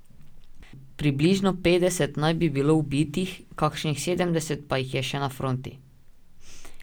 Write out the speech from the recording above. Približno petdeset naj bi bilo ubitih, kakšnih sedemdeset pa jih je še na fronti.